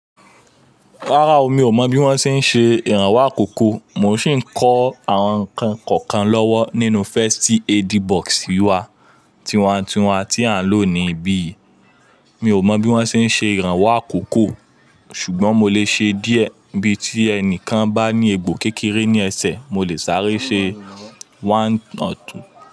Rárá o, mi ò mọ̀ bí wọ́n ṣe ń ṣe ìrànwọ́ àkókò, mò ń sì ń kó àwọn ǹkan kọ̀ọ̀kan lọ́wọ́ nínú first aid box wa, tiwa n tiwa tí à ń lò níbí yìí. Mi ò mọ̀ bí wọ́n ṣe ń ṣe ìrànwọ́ àkókò, ṣùgbọ́n mo lè ṣe díẹ̀ bí tí ẹnìkan bá ní egbò kékeré ní ẹsẹ̀, mo lè sáré ṣe one or two.